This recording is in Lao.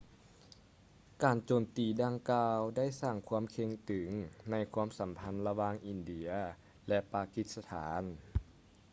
ການໂຈມຕີດັ່ງກ່າວໄດ້ສ້າງຄວາມເຄັ່ງຕຶງໃນຄວາມສຳພັນລະຫວ່າງອິນເດຍ ແລະ ປາກິສຖານ